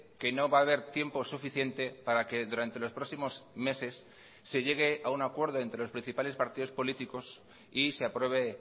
que no va a haber tiempo suficiente para que durante los próximos meses se llegue a un acuerdo entre los principales partidos políticos y se apruebe